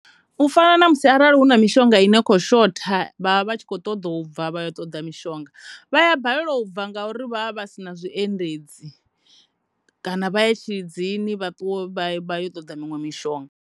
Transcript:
U fana na musi vha vha na mishonga i no kho shotha vha vha tshi kho ṱoḓa u bva vha ya vha ṱoḓa mushonga vha ya balelwa u bva ngauri vha vha si na zwiendedzi kana vha ye Tshilidzini vha ṱuwe vha ye u ṱoḓa miṅwe mishonga.